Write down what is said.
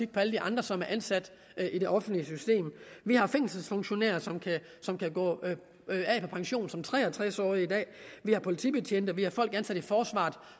på alle de andre som er ansat i det offentlige system vi har fængselsfunktionærer som kan gå på pension som tre og tres årige i dag vi har politibetjente vi har folk ansat i forsvaret